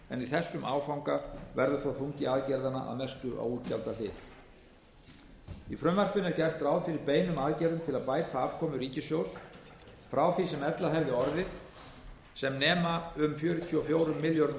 en í þessum áfanga verður þó þungi aðgerðanna að mestu á útgjaldahliðinni í frumvarpinu er gert ráð fyrir beinum aðgerðum til að bæta afkomu ríkissjóðs frá því sem ella hefði orðið sem nema um fjörutíu og fjórum milljörðum króna er það